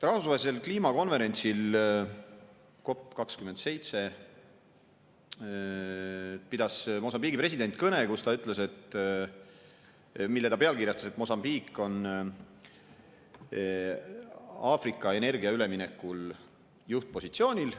Rahvusvahelisel kliimakonverentsil COP27 pidas Mosambiigi president kõne, kus ta ütles, et Mosambiik on Aafrika energiaüleminekul juhtpositsioonil.